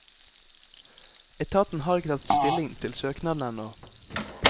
Etaten har ikke tatt stilling til søknaden ennå.